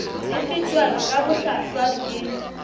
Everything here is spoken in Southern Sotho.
di fetwa ka bohlwahlwa ke